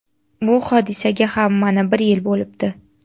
Bu hodisaga ham mana bir yil bo‘libdi.